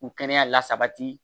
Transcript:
U kɛnɛya lasabati